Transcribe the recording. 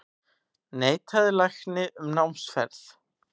Neitaði lækni um námsferð